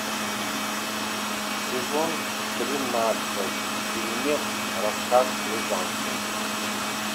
сезон тринадцать фильмец рассказ служанки